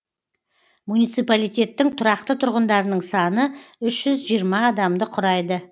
муниципалитеттің тұрақты тұрғындарының саны үш жүз жиырма адамды құрайды